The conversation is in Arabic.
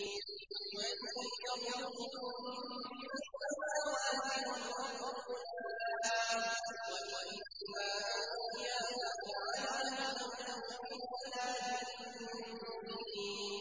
۞ قُلْ مَن يَرْزُقُكُم مِّنَ السَّمَاوَاتِ وَالْأَرْضِ ۖ قُلِ اللَّهُ ۖ وَإِنَّا أَوْ إِيَّاكُمْ لَعَلَىٰ هُدًى أَوْ فِي ضَلَالٍ مُّبِينٍ